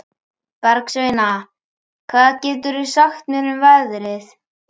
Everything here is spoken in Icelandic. Bergsveina, hvað geturðu sagt mér um veðrið?